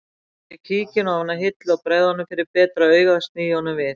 Ég tek kíkinn ofan af hillu og bregð honum fyrir betra augað sný honum við